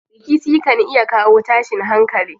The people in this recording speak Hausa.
Rikici kan iya kawo tashin hankali.